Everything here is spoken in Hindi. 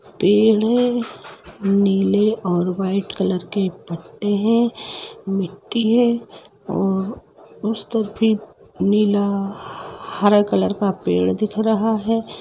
पेड़ है नीले और व्हाइट कॉलर के पट्टे है मिट्टी है उस तरफ़ भी नीला हरा कॉलर का पेड़ दिख रहा है।